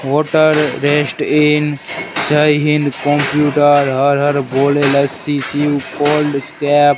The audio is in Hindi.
वाटर रेस्ट इन जय हिंद कंप्यूटर हर हर भोले लस्सी शिव कोल्ड स्टेप ।